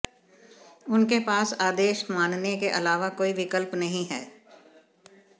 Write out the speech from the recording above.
उनके पास आदेश मानने के अलावा कोई विकल्प नहीं है